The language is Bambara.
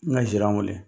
N ka sira weele